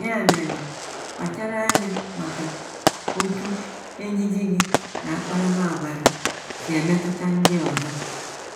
Ya mere, kpachara anya maka otú ejiji gị na akparamàgwà gị si emetụta ndị ọzọ.